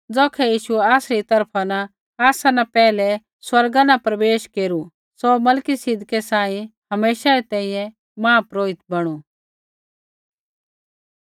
ज़ौखै यीशुऐ आसरी तरफा न आसा न पैहलै स्वर्गा न प्रवेश केरू सौ मलिकिसिदकै सांही हमेशै री तैंईंयैं महापुरोहित बणु